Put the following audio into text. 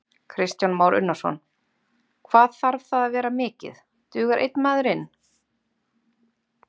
Kristján Már Unnarsson: Hvað þarf það að vera mikið, dugar einn maður inn?